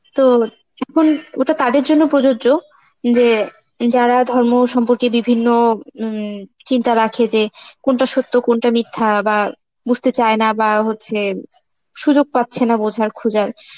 তো ওটা তাদের জন্য প্রযোজ্য যে~ যারা ধর্ম সম্পর্কে বিভিন্ন হম চিন্তা রাখে যে কোনটা সত্য কোনটা মিথ্যা বা বুঝতে চায় না বা হচ্ছে সুযোগ পাচ্ছে না বোঝার, খোঁজার,